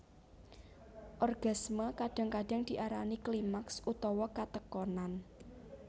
Orgasme kadang kadang diarani klimaks utawa katekonan